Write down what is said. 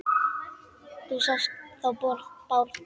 Þú sást þó Bárð?